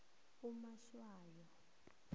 umatshwayo